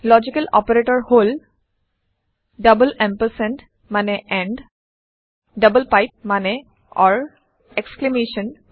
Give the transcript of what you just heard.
logical operator হল double ampersand এম্পাম্প মানে ডাবল পাইপ মানে এক্সক্লেমেশ্যন